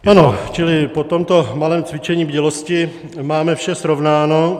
Ano, čili po tomto malém cvičení bdělosti máme vše srovnáno.